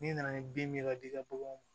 N'i nana ni bin min ye ka d'i ka baganw ma